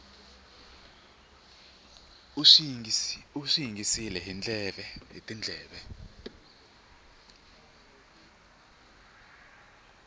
u swi yingisile hi tindleve